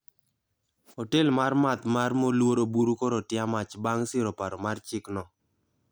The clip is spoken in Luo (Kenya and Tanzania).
Otel mar math mar Moluor oburu koro otia mach bang siro paro mar chik no